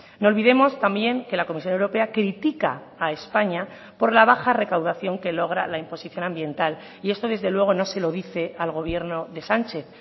no olvidemos también que la comisión europea critica a españa por la baja recaudación que logra la imposición ambiental y esto desde luego no se lo dice al gobierno de sánchez